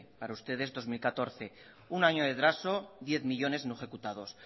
para ustedes dos mil catorce un año de retraso diez millónes no ejecutados